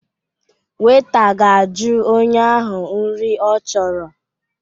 Weita ga-aju onye ahịa nri ọ chọrọ